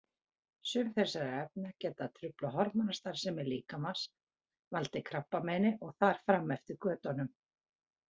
Sum þessara efna geta truflað hormónastarfsemi líkamans, valdið krabbameini og þar fram eftir götunum.